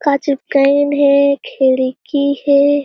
का चिपकाइन हे खिड़की हे।